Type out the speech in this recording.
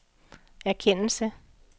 erkendelse